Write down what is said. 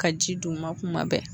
Ka ji d'u ma kuma bɛɛ